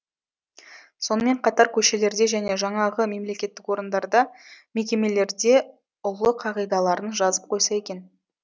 сонымен қатар көшелерде және жаңағы мемлекеттік орындарда мекемелерде ұлы қағидаларын жазып қойса екен